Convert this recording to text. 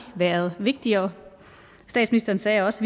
har været vigtigere statsministeren sagde også